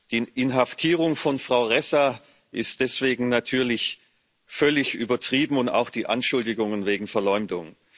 Die Inhaftierung von Frau Ressa ist deswegen natürlich völlig übertrieben und auch die Anschuldigungen wegen Verleumdung.